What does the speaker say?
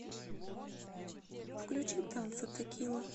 включи танцы текила